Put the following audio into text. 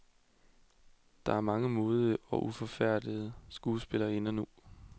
Der er mange modige og uforfærdede skuespillerinder nu.